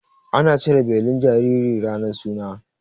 Ana cire belin jinjiri ranar suna.